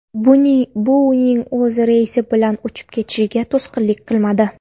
Bu uning o‘z reysi bilan uchib ketishiga to‘sqinlik qilmadi.